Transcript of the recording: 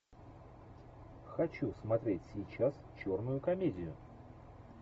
хочу смотреть сейчас черную комедию